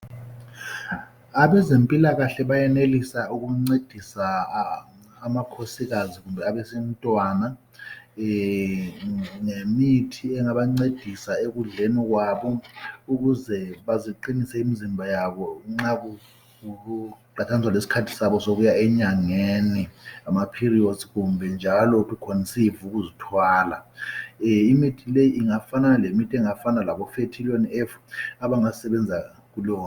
Abezempilakahle bayenelisa ukuncedisa amakhosikazi kumbe abesintwana, ngemithi engabancedisa. ekudleni kwabo. Ukuze baziqinise imizimba yabo. Nxa kuqathaniswa lesikhathi sabo sokuya enyangeni. Ngamaperiods, kumbe njalo to conceive, ukuzithwala. Imithi leyo, ingafana lemithi, engafana laboFertilion, engasebenza kuleyo